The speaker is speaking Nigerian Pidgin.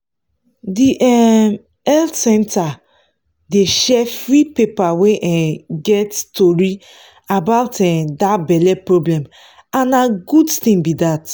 the um health center dey share free paper wey um get tori about um that belle problem and na good thing be that